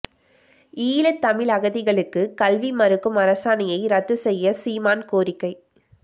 ஈழத் தமிழ் அகதிகளுக்கு கல்வி மறுக்கும் அரசாணையை ரத்து செய்ய சீமான் கோரிக்கை